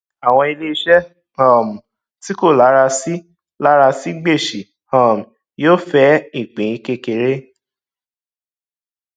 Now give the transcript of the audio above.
àwọn iléiṣẹ um tí kò lara sí lara sí gbèsè um yóò fẹ ìpín kékeré